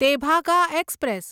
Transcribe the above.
Tebhaga express